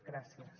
gràcies